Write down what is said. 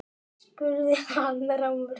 spurði hann rámur.